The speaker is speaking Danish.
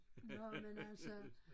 Nåh men altså